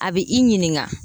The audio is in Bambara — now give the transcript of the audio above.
A bɛ i ɲininga